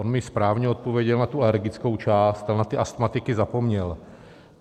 On mi správně odpověděl na tu alergickou část, ale na ty astmatiky zapomněl.